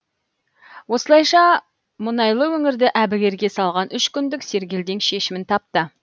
осылайша мұнайлы өңірді әбігерге салған үш күндік сергелдең шешімін тапты